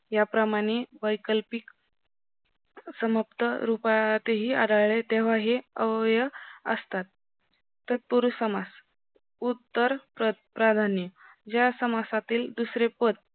या प्रमाणे वैकल्पिक समाप्त रूपात ही आढळले तेव्हा हे अव्यय असतात तत्पुरुस समास उत्तर प्राधान्य जय समासातील दुसरे पद